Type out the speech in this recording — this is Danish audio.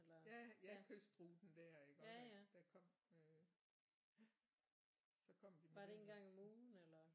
Ja ja kystruten der iggå der kom øh ja så kom de med lasten